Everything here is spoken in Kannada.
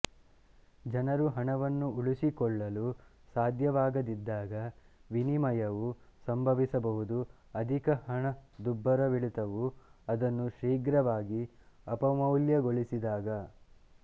ಜನರು ಹಣವನ್ನು ಉಳಿಸಿಕೊಳ್ಳಲು ಸಾಧ್ಯವಾಗದಿದ್ದಾಗ ವಿನಿಮಯವು ಸಂಭವಿಸಬಹುದು ಅಧಿಕ ಹಣದುಬ್ಬರವಿಳಿತವು ಅದನ್ನು ಶೀಘ್ರವಾಗಿ ಅಪಮೌಲ್ಯಗೊಳಿಸಿದಾಗ